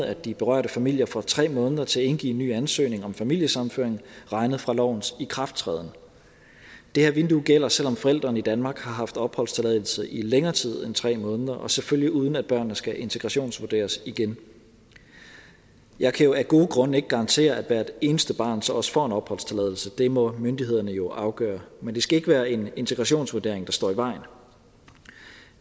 at de berørte familier får tre måneder til at indgive en ny ansøgning om familiesammenføring regnet fra lovens ikrafttræden det her vindue gælder selv om forælderen i danmark har haft opholdstilladelse i længere tid end tre måneder og selvfølgelig uden at børnene skal integrationsvurderes igen jeg kan jo af gode grunde ikke garantere at hvert eneste barn så også får en opholdstilladelse det må myndighederne jo afgørende men det skal ikke være en integrationsvurdering der står i vejen